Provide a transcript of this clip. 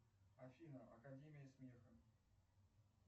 афина академия смеха